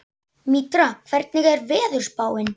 Mítra, hvernig er veðurspáin?